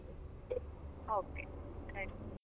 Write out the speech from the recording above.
Okay ಆಯ್ತ್.